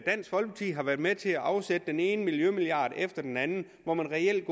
folkeparti har været med til at afsætte den ene miljømilliard efter den anden og reelt